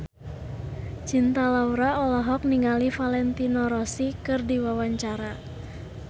Cinta Laura olohok ningali Valentino Rossi keur diwawancara